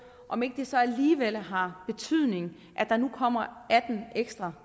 om ikke det så alligevel har betydning at der nu kommer atten ekstra